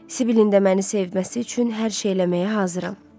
Sibili də məni sevməsi üçün hər şey eləməyə hazıram.